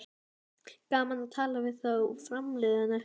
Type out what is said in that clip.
Gaman að tala við þá framliðnu